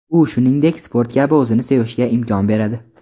U shuningdek sport kabi o‘zini sevishga imkon beradi.